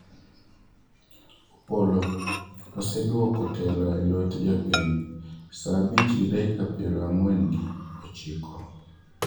Opollo:waseduoko telo e lwet jopiny, saa abich gi dakika piero ang'wen gi ochiko